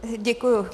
Děkuji.